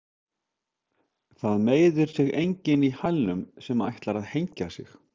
Það meiðir sig enginn í hælunum sem ætlar að hengja sig.